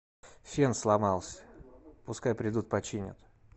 фен сломался пускай придут починят